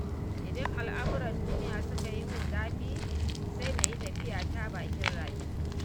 Idan al'amuran duniya suka yi min zafi, sai na yi tafiyata bakin rafi.